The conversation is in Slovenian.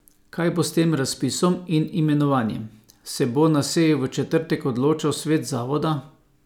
Kaj bo s tem razpisom in imenovanjem, se bo na seji v četrtek odločal svet zavoda.